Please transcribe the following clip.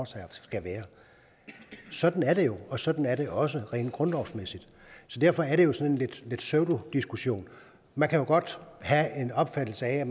sig skal være sådan er det jo og sådan er det også rent grundlovsmæssigt så derfor er det jo sådan lidt en pseudodiskussion man kan godt have en opfattelse af